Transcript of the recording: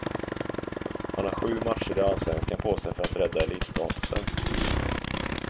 Han har sju matcher i allsvenskan på sig för att rädda elitstatusen.